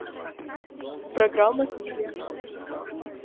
программа с милями